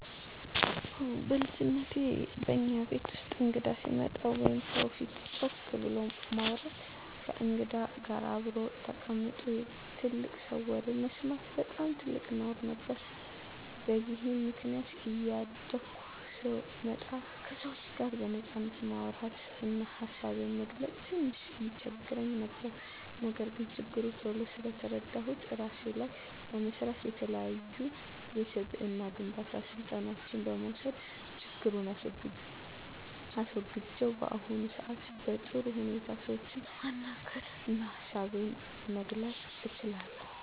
አወ በልጅነቴ በእኛ ቤት ውስጥ እንግዳ ሲመጣ ወይም ሰው ፊት ጮክ ብሎ ማውራት፣ ከእንግዳ ጋር አብሮ ተቀምጦ የትልቅ ሰው ወሬ መስማት በጣም ትልቅ ነውር ነበር። በዚህም ምክንያት እያደኩ ስመጣ ከሰዎች ጋር በነጻነት ማውራት እና ሀሳቤን መግለፅ ትንሽ ይቸግረኝ ነበር። ነገር ግን ችግሩን ቶሎ ስለተረዳሁት እራሴ ላይ በመስራት፣ የተለያዩ የስብዕና ግንባታ ስልጠናዎችን በመውሰድ ችግሩን አስወግጀው በአሁኑ ሰአት በጥሩ ሁኔታ ሰዎችን ማናገር እና ሀሳቤን መግለፅ እችላለሁ።